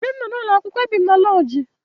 Mgbe m nọ n'ụlọakwụkwọ ebi m n'loodji.